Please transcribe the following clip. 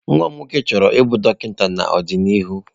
Nwa m nwoke chọrọ ịbụ dọkịta n'ọdịnihu.